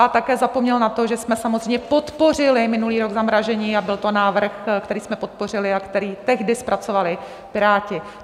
A také zapomněl na to, že jsme samozřejmě podpořili minulý rok zamrazení, a byl to návrh, který jsme podpořili a který tehdy zpracovali Piráti.